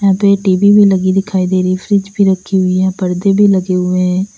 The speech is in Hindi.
दो टी_वी भी लगी दिखाई दे रही फ्रिज पर रखी हुई है पर्दे भी लगे हुए हैं।